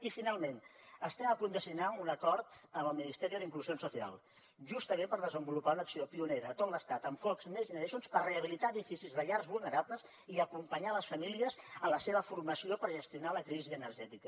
i finalment estem a punt de signar un acord amb el ministerio de inclusión social justament per desenvolupar una acció pionera a tot l’estat amb fons next generation per habilitar edificis de llars vulnerables i acompanyar les famílies en la seva formació per gestionar la crisi energètica